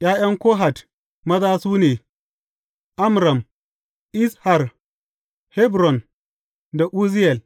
’Ya’yan Kohat maza, su ne, Amram, Izhar, Hebron da Uzziyel.